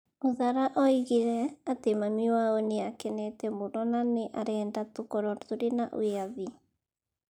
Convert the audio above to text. Uthara oigire atĩ mami wao nĩ akenete mũno na nĩ arenda tũkorũo tũrĩ na wĩyathi.